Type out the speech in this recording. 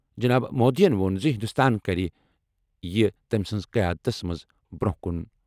جناب مودیَن ووٚن زِ ہندوستان کَرِ یہِ تٔمۍ سٕنٛزِ قیادتس منٛز برٛونٛہہ کُن۔